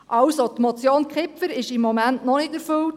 Die Motion Kipfer ist somit noch nicht erfüllt.